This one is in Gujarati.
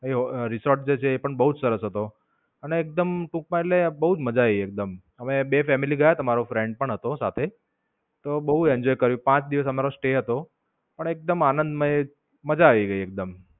એ ઓ, રિસોર્ટ હતો એ પણ બવ સરસ હતો. અને એકદમ ટૂંકમાં એટલે બોવ જ માજા આયી એકદમ. અમે બે ફેમિલી ગયા હતા મારો friend પણ હતો સાથે તો બોવ enjoy કર્યું. પાંચ દિવસ અમારો stay હતો. પણ એકદમ આનંદમય માજા આયી ગઈ એકદમ.